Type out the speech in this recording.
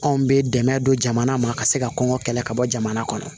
Anw bɛ dɛmɛ don jamana ma ka se ka kɔngɔ kɛlɛ ka bɔ jamana kɔnɔ